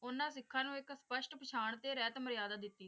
ਉਨ੍ਹਾਂ ਸਿੱਖਾਂ ਨੂੰ ਇਕ ਸਪਸ਼ਟ ਪਹਿਚਾਣ ਤੇ ਰਹਿਤ ਮਰਿਆਦਾ ਦਿੱਤੀ।